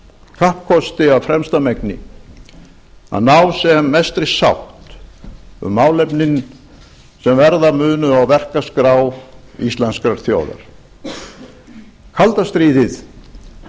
kappkosti af fremsta megni að ná sem mestri sátt um málefnin sem verða munu á verkaskrá íslenskrar þjóðar kalda stríðið